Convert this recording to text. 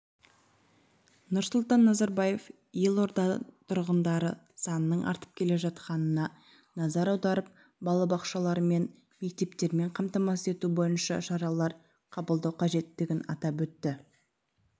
нұрсұлтан назарбаев елорда тұрғындары санының артып келе жатқанына назар аударып балабақшалармен мектептермен қамтамасыз ету бойынша шаралар қабылдау қажеттігін атап өтті